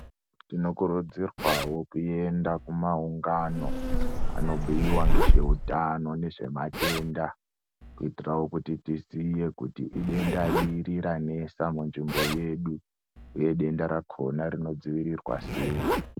Tinokurudzirwawo kuenda kumaungano anobhuyiwa nezveutano nezvematenda kuitirawo kuti tiziye kuti idenda riri ranesa munzvimbo yedu uye denda rakona rinodzivirirwa sei.